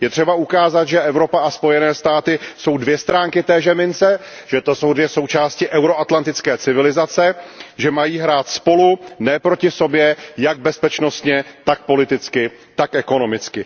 Je třeba ukázat, že Evropa a Spojené státy americké jsou dvě strany téže mince, že to jsou dvě součásti euro atlantické civilizace, že mají hrát spolu, ne proti sobě, jak bezpečnostně, tak politicky, tak ekonomicky.